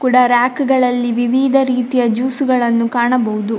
ಕೂಡ ರಾಕ್‌ಗಳಲ್ಲಿ ವಿವಿಧ ರೀತಿಯ ಜ್ಯೂಸ್‌ಗಳನ್ನು ಕಾಣಬಹುದು.